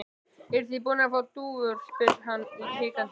Eruð þið búnir að fá dúfur? spyr hann hikandi.